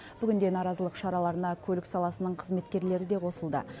бүгінде наразылық шараларына көлік саласының қызметкерлері де қосылды